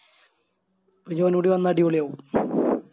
ഇനി ഒന്നൂടി വന്ന അടിപൊളിയാവും